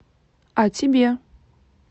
а тебе